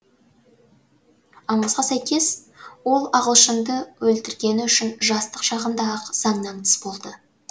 аңызға сәйкес ол ағылшынды өлтіргені үшін жастық шағында ақ заңнан тыс болды